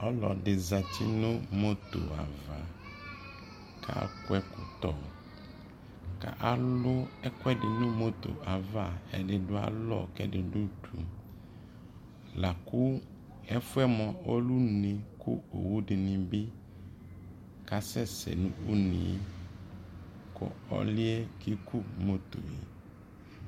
ɔlɔdi zati nʋ mɔtɔ aɣa, kʋ adʋɛ ʒkɔtɔ kʋ alʋʒkʋʒdi nʋ mɔtɔ aɣa, ʒdi du alɔ, ʒdi du ʋdʋ, lakʋ ʒfuʒ mʋa ɔlʒ ʋnʒ , lakʋ alʋʒdinibi kasʒsʒ nʋ ʋnʒ kʋ ɔliʒ kʒkʋmɔtɔʒ